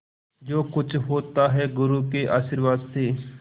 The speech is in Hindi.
जो कुछ होता है गुरु के आशीर्वाद से